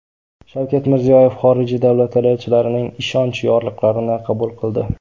Shavkat Mirziyoyev xorijiy davlatlar elchilarining ishonch yorliqlarini qabul qildi.